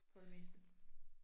For det meste